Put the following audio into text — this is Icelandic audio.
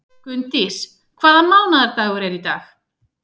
Gunndís, hvaða mánaðardagur er í dag?